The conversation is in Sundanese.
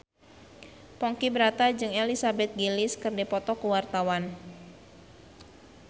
Ponky Brata jeung Elizabeth Gillies keur dipoto ku wartawan